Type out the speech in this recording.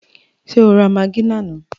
Ṣé o ra magí lánàá?